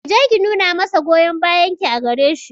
Ki je ki nuna masa goyon bayan ki a gare shi